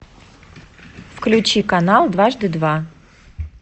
включи канал дважды два